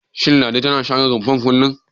Shin Ladi tana share rumfar kullum?